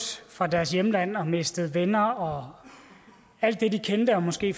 fra deres hjemland og mistet venner og alt det de kendte og måske